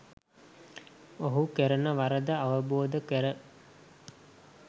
ඔහු කරන වරද අවබෝධ කර